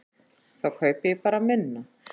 Ég kaupi þá bara minna.